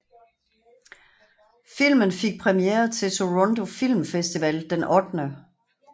Filmen fik premier til Toronto Film Festival den 8